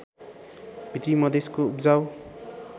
भित्री मधेशको उब्जाउ